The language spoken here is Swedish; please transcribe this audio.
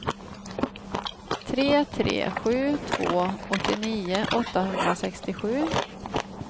tre tre sju två åttionio åttahundrasextiosju